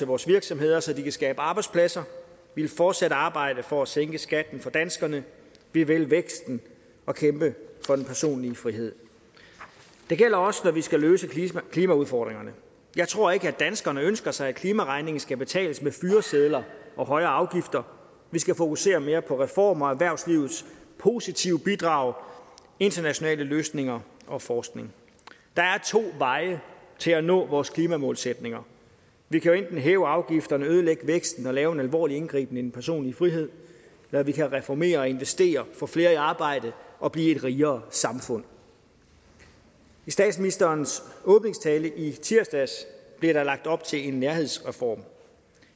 vores virksomheder så de kan skabe arbejdspladser vi vil fortsat arbejde for at sænke skatten for danskerne vi vil væksten og kæmpe for den personlige frihed det gælder også når vi skal løse klimaudfordringerne jeg tror ikke at danskerne ønsker sig at klimaregningen skal betales med fyresedler og højere afgifter vi skal fokusere mere på reformer og erhvervslivets positive bidrag internationale løsninger og forskning der er to veje til at nå vores klimamålsætninger vi kan enten hæve afgifterne ødelægge væksten og lave en alvorlig indgriben i den personlige frihed eller vi kan reformere og investere og få flere i arbejde og blive et rigere samfund i statsministerens åbningstale i tirsdags blev der lagt op til en nærhedsreform